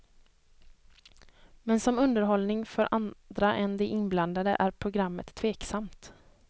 Men som underhållning för andra än de inblandade är programmet tveksamt.